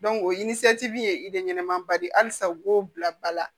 o ye ba de ye halisa u b'o bila ba la